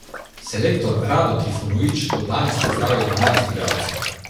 Selektor Rado Trifunović bo danes pozdravil dvanajst igralcev.